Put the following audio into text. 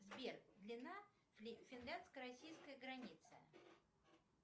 сбер длина финляндско российской границы